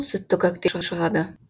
сүтті коктейль шығады